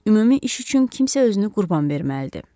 Ümumi iş üçün kimsə özünü qurban verməlidir.